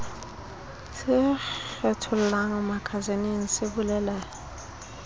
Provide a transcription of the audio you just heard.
se kgethollang makasineng se bolele